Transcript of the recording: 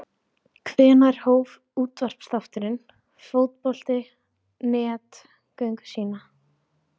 Hvenær hóf útvarpsþátturinn Fótbolti.net göngu sína?